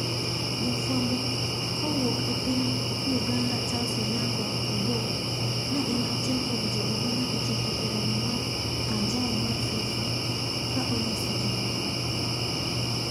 Jafwambo kowuok e pny Uganda Charles Onyango - Obbo ne en achiel kuom jogo mane ochopo eromo mar anjao mar FIFA ka onyiso jomoko.